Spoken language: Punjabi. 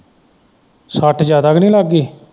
ਸੱਟ ਜਿਆਦਾ ਤੇ ਨਹੀਂ ਲੱਗ ਗਈ।